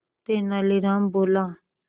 तेनालीराम बोला